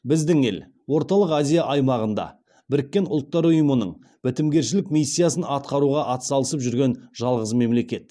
біздің ел орталық азия аймағында біріккен ұлттар ұйымының бітімгершілік миссиясын атқаруға атсалысып жүрген жалғыз мемлекет